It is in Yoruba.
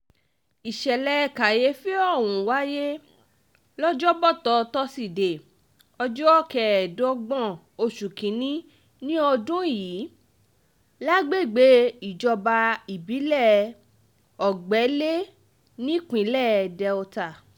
ìṣẹ̀lẹ̀ kàyééfì ọ̀hún wáyé lọ́jọ́bọ́tò tósídéé um ọjọ́ kẹẹ̀ẹ́dọ́gbọ̀n oṣù kín-ín-ní um ọdún yìí lágbègbè ìjọba ìbílẹ̀ ògbẹ́lé nípínlẹ̀ delta